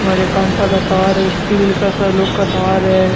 और ये कांटा का तार है स्टील का सा लोह का तार है।